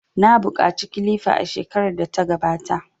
Na buƙaci kilifa a shekarar da ta gabata.